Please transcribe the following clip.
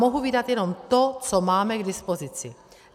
Mohu vydat jenom to, co máme k dispozici.